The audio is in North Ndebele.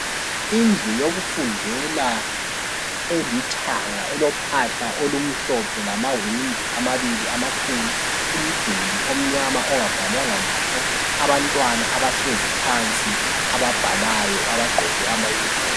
Indlu yokufundela elithanga elophahla olumhlophe lamawindi amabili amakhulu umduli omnyama ongabhalwanga lutho abantwana abahlezi phansi ababhalayo abagqoke ama "uniform".